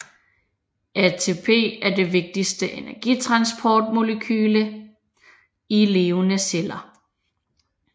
ATP er det vigtigste energitransportmolekyle i levende celler